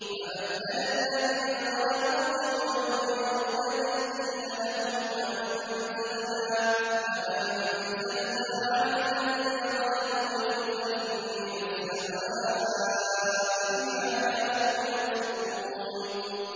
فَبَدَّلَ الَّذِينَ ظَلَمُوا قَوْلًا غَيْرَ الَّذِي قِيلَ لَهُمْ فَأَنزَلْنَا عَلَى الَّذِينَ ظَلَمُوا رِجْزًا مِّنَ السَّمَاءِ بِمَا كَانُوا يَفْسُقُونَ